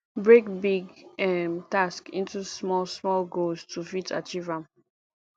break big um task into small small goals to fit achieve am